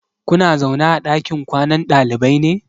Kuna zaune a ɗakin kwanan ɗalibai ne?